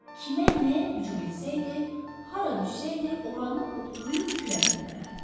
Kimə nə hücum etsəydi, hara düşsəydi, oranı otlayıb külə döndərərdi.